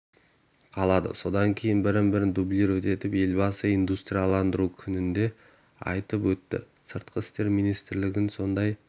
қалады содан кейін бір-бірін дублировать етеді елбасы индустрияландыру күнінде айтып өтті сыртқы істер министрлігін сондай